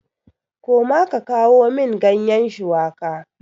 Koma ka kawo min ganyen shuwaka!